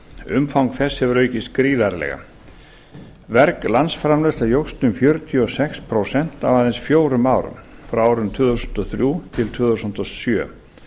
umfang þess hefur aukist gríðarlega verg landsframleiðsla jókst um fjörutíu og sex prósent á aðeins fjórum árum frá tvö þúsund og þrjú til tvö þúsund og sjö